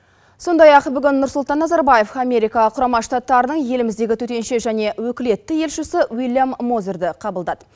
сондай ақ бүгін нұрсұлтан назарбаев америка құрама штаттарының еліміздегі төтенше және өкілетті елшісі уильям мозерді қабылдады